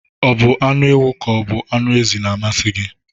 O bụ anụ ewu ka o bụ anụ ezi na-amasi gị?